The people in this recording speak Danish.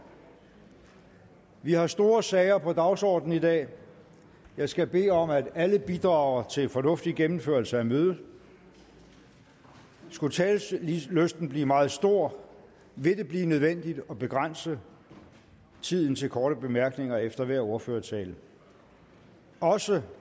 vi har store sager på dagsordenen i dag jeg skal bede om at alle bidrager til en fornuftig gennemførelse af mødet skulle talelysten blive meget stor vil det blive nødvendigt at begrænse tiden til korte bemærkninger efter hver ordførertale også